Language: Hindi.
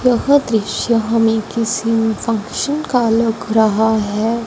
यह दृश्य हमें किसी फंक्शन का लग रहा है।